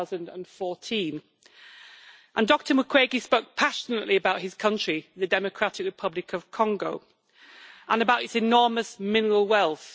2014. Dr Mukwege spoke passionately about his country, the Democratic Republic of Congo, and about its enormous mineral wealth.